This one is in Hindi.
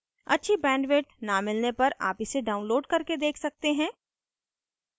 अच्छी bandwidth न मिलने पर आप इसे download करके देख सकते हैं